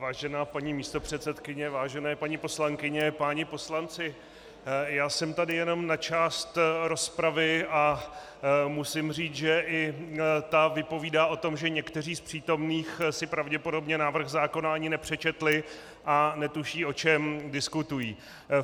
Vážená paní místopředsedkyně, vážené paní poslankyně, páni poslanci, já jsem tady jenom na část rozpravy a musím říct, že i ta vypovídá o tom, že někteří z přítomných si pravděpodobně návrh zákona ani nepřečetli a netuší, o čem diskutují.